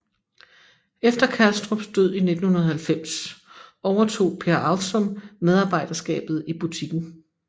Efter Kalstrups død i 1990 overtog Per Avsum medarbejderskabet i butikken